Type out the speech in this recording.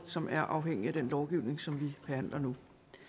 som er afhængige af den lovgivning som vi behandler nu